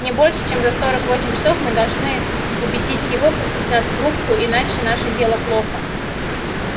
не больше чем за сорок восемь часов мы должны убедить его пустить нас в рубку иначе наше дело плохо